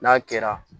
N'a kɛra